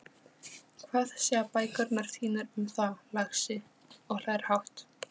Hvað segja bækurnar þínar um það, lagsi? og hlær hátt.